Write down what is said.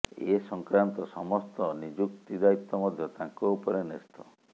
ଏ ସଂକ୍ରାନ୍ତ ସମସ୍ତ ନିଯୁକ୍ତି ଦାୟିତ୍ବ ମଧ୍ୟ ତାଙ୍କ ଉପରେ ନ୍ୟସ୍ତ